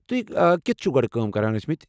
تُہۍ كٕتہِ چھوٕ گۄڈٕ کٲم کران ٲسمٕتۍ ؟